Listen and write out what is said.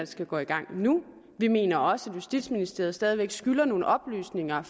skal gå i gang nu vi mener også at justitsministeriet stadig væk skylder nogle oplysninger